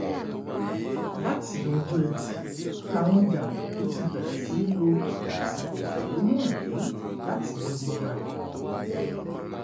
láti ọjọ́ etí furcabee làwọn jàǹdùkú ti bẹ̀rẹ̀ sí í lo àsìkò ìfẹ̀hónú hàn yìí digunjalè